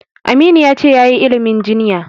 Aminu ya ce yayi ilimin jinya.